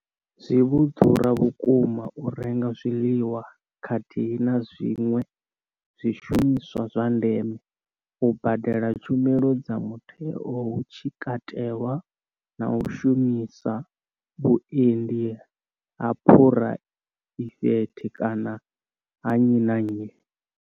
Zwi vho ḓura vhukuma u renga zwiḽiwa khathihi na zwiṅwe zwishumiswa zwa ndeme, u badela tshumelo dza mutheo hu tshi katelwa na u shumisa vhuendi ha phuraivethe kana ha nnyi na nnyi.